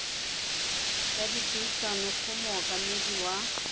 ya dipuisano go mookamedi wa